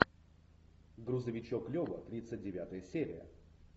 грузовичок лева тридцать девятая серия